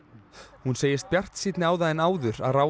hún segist bjartsýnni á það en áður að ráðist